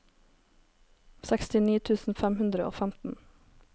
sekstini tusen fem hundre og femten